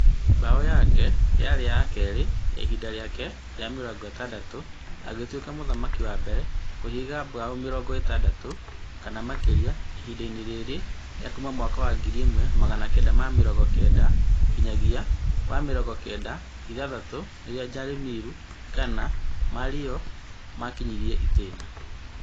Mbao yake ya keerĩ yarĩ ihinda rĩake rĩa mĩrongo ĩtandatũ, agĩtũĩka mũthaki wa mbere kũhinga mbao mĩrongo itandatũ kana makĩria ihindainĩ rĩa kuma mwaka wa ngiri ĩmwe magana kenda ma mĩrongo kenda nginyagia wa mĩrongo kenda na ithathatũ, rĩrĩa Jaromir Jagrna Mario lemieux makĩnyĩrie itĩna